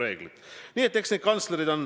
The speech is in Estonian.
Need ei ole päris üks ja sama asi.